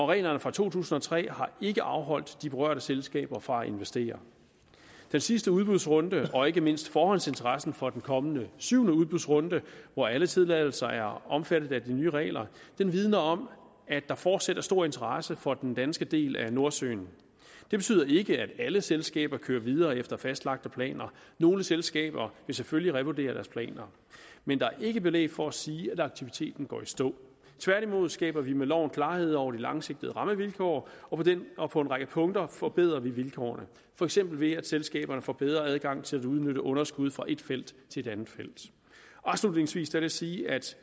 reglerne fra to tusind og tre har ikke afholdt de berørte selskaber fra at investere den sidste udbudsrunde og ikke mindst forhåndsinteressen for den kommende syvende udbudsrunde hvor alle tilladelser er omfattet af de nye regler vidner om at der fortsat er stor interesse for den danske del af nordsøen det betyder ikke at alle selskaber kører videre efter fastlagte planer nogle selskaber vil selvfølgelig revurdere deres planer men der er ikke belæg for at sige at aktiviteten går i stå tværtimod skaber vi med loven klarhed over de langsigtede rammevilkår og på en række punkter forbedrer vi vilkårene for eksempel ved at selskaberne får bedre adgang til at udnytte underskud fra et felt i et andet felt afslutningsvis vil jeg sige at